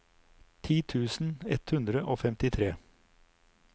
ti tusen ett hundre og femtitre